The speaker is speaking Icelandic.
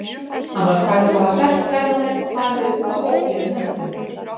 Hann var sagður hafa hrellt ferðamenn og farið um þá óblíðum höndum.